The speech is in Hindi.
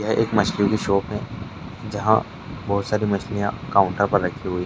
ये एक मछली के शॉप है जहाँ बहुत सारी मछलियाँ काउंटर पर रखी हुई --